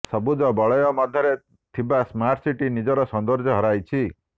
ସବୁଜ ବଳୟ ମଧ୍ୟରେ ଥିବା ସ୍ମାର୍ଟସିଟି ନିଜର ସୌନ୍ଦଯ୍ୟ ହରାଇଛି